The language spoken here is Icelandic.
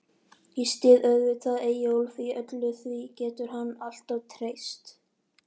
Ég styð auðvitað Eyjólf í öllu, því getur hann alltaf treyst.